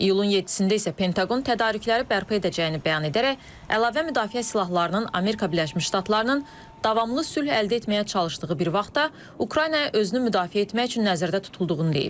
İyulun 7-də isə Pentaqon tədarükləri bərpa edəcəyini bəyan edərək, əlavə müdafiə silahlarının Amerika Birləşmiş Ştatlarının davamlı sülh əldə etməyə çalışdığı bir vaxtda Ukraynaya özünü müdafiə etmək üçün nəzərdə tutulduğunu deyib.